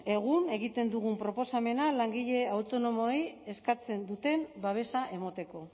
egun egiten dugun proposamena langile autonomoei eskatzen duten babesa emateko